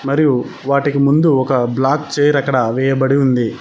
మరియు వాటికి ముందు ఒక బ్లాక్ చైర్ అక్కడ వేయబడి ఉంది.